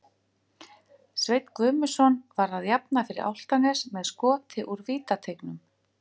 Sveinn Guðmundsson var að jafna fyrir Álftanes með skoti úr vítateignum.